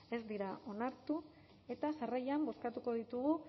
ez dira onartu eta jarraian bozkatuko ditugu